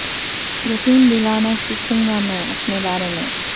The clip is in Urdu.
یقیں دلا نہ سکوں گا میں اپنے بارے میں